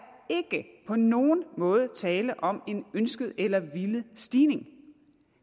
ikke på nogen måde tale om en ønsket eller villet stigning